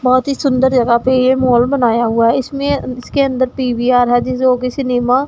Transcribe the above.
बहोत ही सुंदर जगह पे ये मॉल बनाया हुआ है इसमें इसके अंदर टी_वी आ रहा है जिसे वो कि सिनेमा --